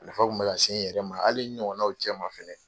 A nafa kun be ka se n yɛrɛ ma. Hali n ɲɔgɔnnaw cɛ ma fɛnɛ.